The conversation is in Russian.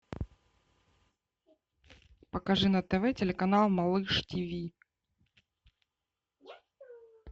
покажи на тв телеканал малыш тв